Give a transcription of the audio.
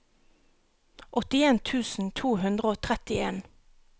åttien tusen to hundre og trettien